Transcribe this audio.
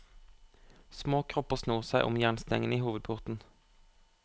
Små kropper snor seg om jernstengene i hovedporten.